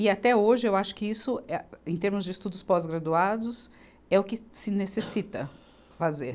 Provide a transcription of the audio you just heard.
E, até hoje, eu acho que isso, eh, em termos de estudos pós-graduados, é o que se necessita fazer.